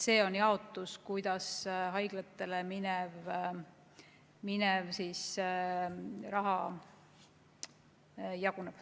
Selline on see jaotus, kuidas haiglatele minev raha jaguneb.